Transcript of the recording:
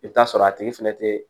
I bɛ t'a sɔrɔ a tigi fɛnɛ tɛ